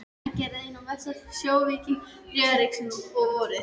Hann gerðist einn mesti sjóvíkingur Þriðja ríkisins, og vorið